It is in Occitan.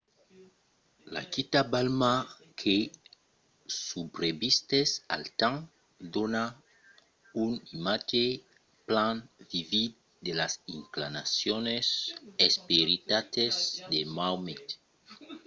la quita balma que subrevisquèt al temps dona un imatge plan vivid de las inclinacions esperitalas de maomet